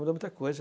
Mudou muita coisa.